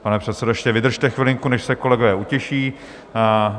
Pane předsedo, ještě vydržte chvilinku, než se kolegové utiší.